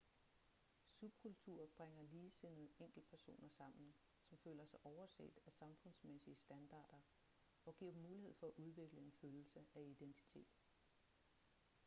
subkulturer bringer ligesindede enkeltpersoner sammen som føler sig overset af samfundsmæssige standarder og giver dem mulighed for at udvikle en følelse af identitet